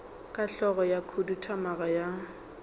ka hlogo ya khuduthamaga ya